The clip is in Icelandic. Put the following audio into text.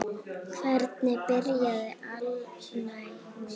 Hvernig byrjaði alnæmi?